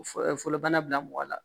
fɔlɔbana bila mɔgɔ la